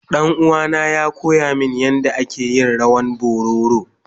Danuwa na ya koya min yanda ake yin rawan bororo.